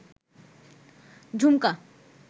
ঝুমকা